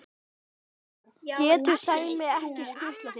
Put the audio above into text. getur Sæmi ekki skutlað þér?